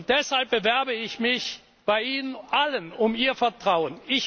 Deshalb bewerbe ich mich bei Ihnen allen um Ihr Vertrauen.